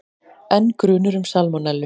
Enn grunur um salmonellu